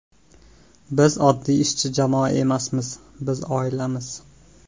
Biz oddiy ishchi jamoa emasmiz biz oilamiz.